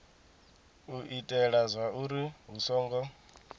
u itela zwauri hu songo